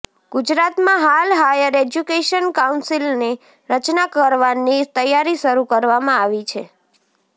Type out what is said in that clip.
ગુજરાતમાં હાલ higher education કાઉન્સિલની રચના કરવાની તૈયારી શરૂ કરવામાં આવી છે